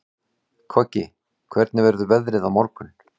Koggi, hvernig verður veðrið á morgun?